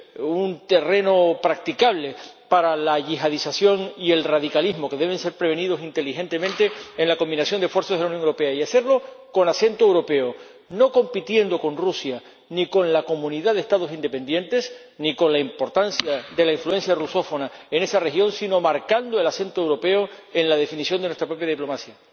es un terreno practicable para la yihadisación y el radicalismo, que deben ser prevenidos inteligentemente en la combinación de esfuerzos de la Unión Europea, y hacerlo con acento europeo, no compitiendo con Rusia, ni con la Comunidad de Estados Independientes, ni con la importancia de la influencia rusófona en esa región, sino marcando el acento europeo en la definición de nuestra propia diplomacia.